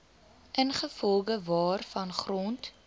ingevolge waarvan grond